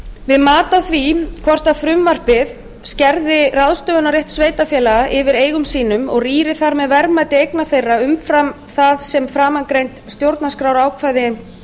við mat á því hvort frumvarpið skerði ráðstöfunarrétt sveitarfélaga yfir eigum sínum og rýri þar með verðmæti eigna þeirra umfram það sem framangreind stjórnarskrárákvæði